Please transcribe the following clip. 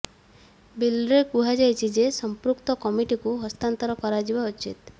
ବିଲ୍ରେ କୁହାଯାଇଛି ଯେ ସଂପୃକ୍ତ କମିଟିକୁ ହସ୍ତାନ୍ତର କରାଯିବା ଉଚିତ